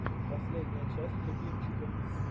последняя часть любимчиков